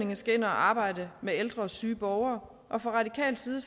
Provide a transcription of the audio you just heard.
man skal ind at arbejde med ældre og syge borgere og fra radikal side